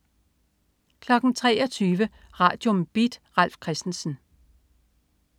23.00 Radium. Beat. Ralf Christensen